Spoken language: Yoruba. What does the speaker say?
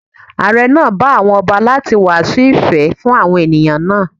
Àre náà bẹ àwọn ọba láti wàásù ìfẹ́ fún àwọn ènìyàn náà.